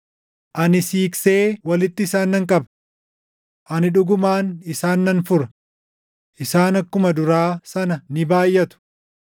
Ani siiqsee walitti isaan nan qaba. Ani dhugumaan isaan nan fura; isaan akkuma duraa sana ni baayʼatu.